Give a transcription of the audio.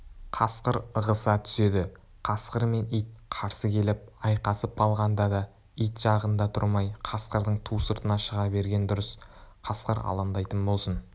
қасқыр ығыса түседі қасқыр мен ит қарсы келіп айқасып қалғанда да ит жағында тұрмай қасқырдың ту сыртына шыға берген дұрыс қасқыр алаңдайтын болсын